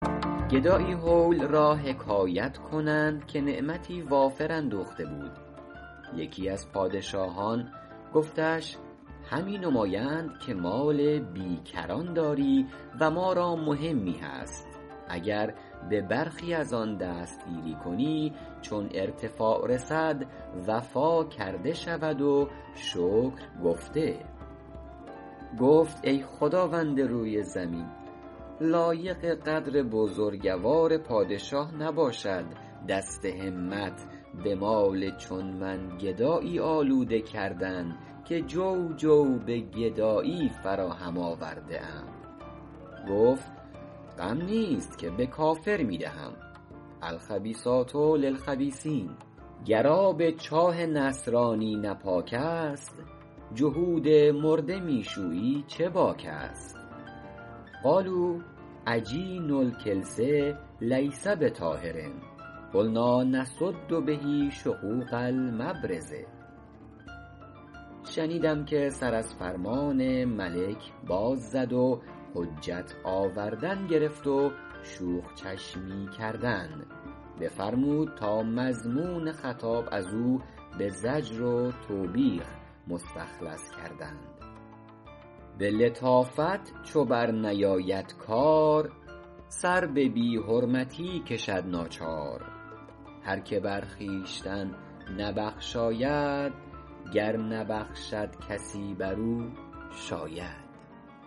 گدایی هول را حکایت کنند که نعمتی وافر اندوخته بود یکی از پادشاهان گفتش همی نمایند که مال بی کران داری و ما را مهمی هست اگر به برخی از آن دست گیری کنی چون ارتفاع رسد وفا کرده شود و شکر گفته گفت ای خداوند روی زمین لایق قدر بزرگوار پادشاه نباشد دست همت به مال چون من گدایی آلوده کردن که جو جو به گدایی فراهم آورده ام گفت غم نیست که به کافر می دهم الخبیثات للخبیثین گر آب چاه نصرانی نه پاک است جهود مرده می شویی چه باک است قالوا عجین الکلس لیس بطاهر قلنٰا نسد به شقوق المبرز شنیدم که سر از فرمان ملک باز زد و حجت آوردن گرفت و شوخ چشمی کردن بفرمود تا مضمون خطاب از او به زجر و توبیخ مخلص کردند به لطافت چو بر نیاید کار سر به بی حرمتی کشد ناچار هر که بر خویشتن نبخشاید گر نبخشد کسی بر او شاید